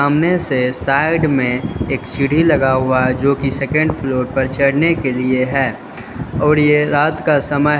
सामने से साइड में एक सिढी लगा हुआ है जो की सेकंड फ्लोर पर चढ़ने के लिए है और ये रात का समय--